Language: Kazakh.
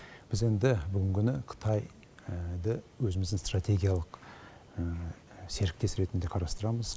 біз енді бүгінгі күні қытай өзіміздің стратегиялық серіктес ретінде қарастырамыз